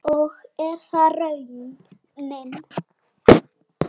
Og er það raunin?